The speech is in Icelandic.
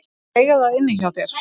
Þeir eiga það inni hjá þér.